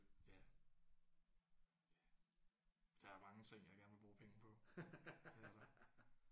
Ja. Ja der er mange ting jeg gerne vil bruge penge på det er der